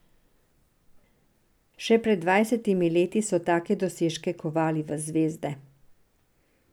Še pred dvajsetimi leti so take dosežke kovali v zvezde.